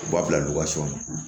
U b'a bila na